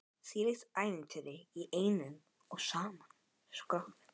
Þvílíkt ævintýri í einum og sama skrokknum.